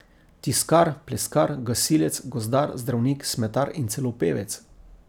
Tiskar, pleskar, gasilec, gozdar, zdravnik, smetar in celo pevec.